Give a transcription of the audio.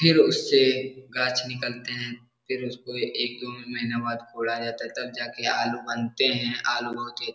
फिर उससे गाछ निकलते हैं फिर उसको एक-दो महिना बाद फोड़ा जाता है तब जाके आलू बनते हैं आलू बहुत ही --